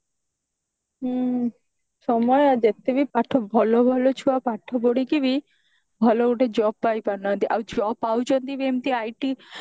ହୁଁ ସମୟ ଯେତେ ବି ପାଠ ଭଲ ଭଲ ଛୁଆ ପାଠ ପଢିକି ବି ଭଲ ଗୋଟେ job ପାଇପାରୁନାହାନ୍ତି ଆଉ job ପାଉଛନ୍ତି ବି ଏମିତି IT